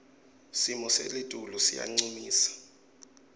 simo selitulu siyancumisa